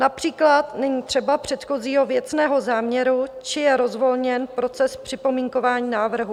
Například není třeba předchozího věcného záměru či je rozvolněn proces připomínkování návrhu.